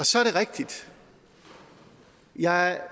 så er det rigtigt og jeg